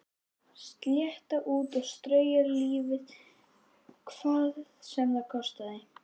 Slétta út og strauja lífið hvað sem það kostaði.